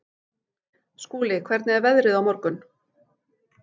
Skúli, hvernig er veðrið á morgun?